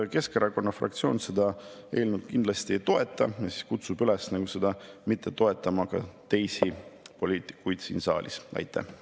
Keskerakonna fraktsioon seda eelnõu kindlasti ei toeta ja kutsub üles ka teisi poliitikuid siin saalis seda mitte toetama.